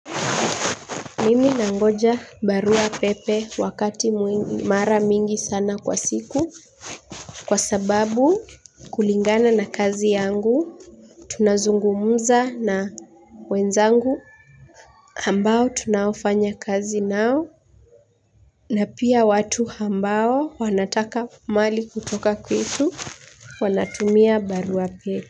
Mimi nangoja barua pepe wakati mara mingi sana kwa siku kwa sababu kulingana na kazi yangu tunazungumza na wenzangu ambao tunaofanya kazi nao na pia watu ambao wanataka mali kutoka kwetu wanatumia barua pepe.